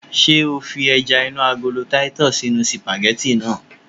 Ṣé o fi ẹja inú agolo titus sínú sìpàgẹ́tì náà?